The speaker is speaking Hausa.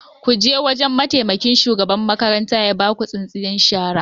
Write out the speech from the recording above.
Ku je wajan mataimakin shugaban makaranta ya baku tsintsiyar shara